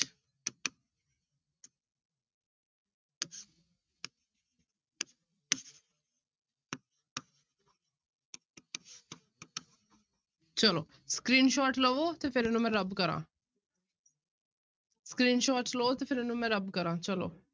ਚਲੋ screenshot ਲਵੋ ਤੇ ਫਿਰ ਇਹਨੂੰ ਮੈਂ rub ਕਰਾਂ screenshot ਲਓ ਤੇ ਫਿਰ ਇਹਨੂੰ ਮੈਂ rub ਕਰਾਂ ਚਲੋ।